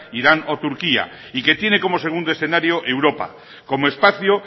irán o turquía y que tiene como segundo escenario europa como espacio